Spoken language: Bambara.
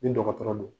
Ni dɔgɔtɔrɔ don